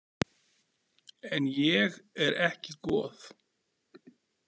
En ég er ekki goð.